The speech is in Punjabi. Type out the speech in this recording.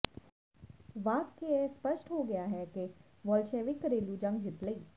ਵਾਰ ਕੇ ਇਹ ਸਪੱਸ਼ਟ ਹੋ ਗਿਆ ਹੈ ਕਿ ਵੋਲਸ਼ੇਵਿਕ ਘਰੇਲੂ ਜੰਗ ਜਿੱਤ ਲਈ